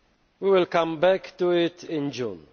We will come back to it in June.